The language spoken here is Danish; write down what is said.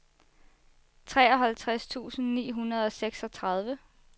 treoghalvtreds tusind ni hundrede og seksogtredive